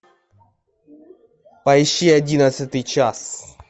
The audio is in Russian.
поищи одиннадцатый час